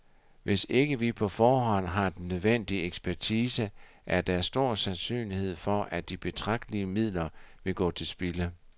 Hvis ikke vi på forhånd har den nødvendige ekspertise, er der stor sandsynlighed for, at de betragtelige midler vil gå til spilde.